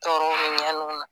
Tɔɔrɔw ni ɲaniw na